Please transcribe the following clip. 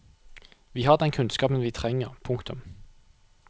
Vi har den kunnskapen vi trenger. punktum